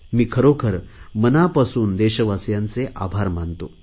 मी खरोखर मनापासून देशवासियांचे आभार मानतो